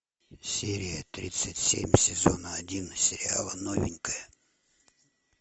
серия тридцать семь сезона один сериала новенькая